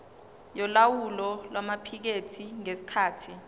yolawulo lwamaphikethi ngesikhathi